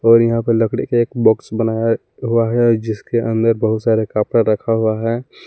और यहां पर लकड़ी एक बॉक्स बनाया हुआ है जिसके अंदर बहुत सारे कपड़ा रखा हुआ है।